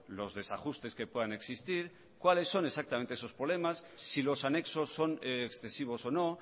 los desajustes que puedan existir cuáles son exactamente esos problemas si los anexos son excesivos o no